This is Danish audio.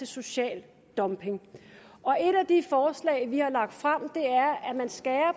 social dumping et af de forslag vi har lagt frem er at man skærer